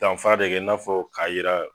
danfara de kɛ i n'a fɔ k'a yira